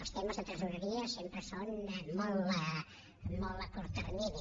els temes de tresoreria sempre són molt a curt termini